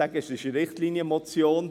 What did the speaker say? Es ist eine Richtlinienmotion.